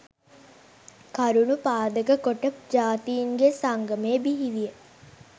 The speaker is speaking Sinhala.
කරුණු පාදක කොට ජාතීන්ගේ සංගමය බිහිවිය